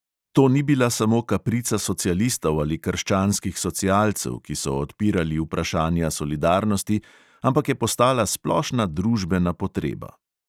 To ni bila samo kaprica socialistov ali krščanskih socialcev, ki so odpirali vprašanja solidarnosti, ampak je postala splošna družbena potreba.